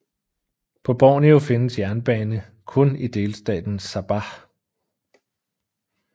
På Borneo findes jernbane kun i delstaten Sabah